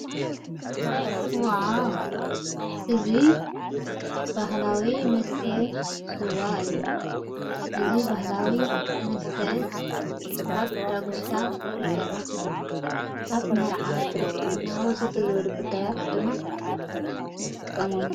ዓ እዙ በህላዊ ምስተ ሡዋ እዩ እዝ በህላዊ መስትዕ ካብ ዳጕሻ ዝሠራሕ እዩ ኣብ መርዓ ክርስትናወ ዘተ ዝበሉ ጕዳያት ድማ ንጠቀሞሉ።